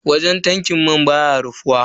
Wajen tankin mai baya rufuwa.